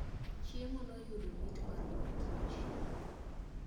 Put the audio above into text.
chiemo noyudo mit mar mor kich